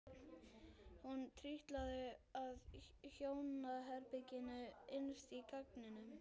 Hún trítlaði að hjónaherberginu innst á ganginum.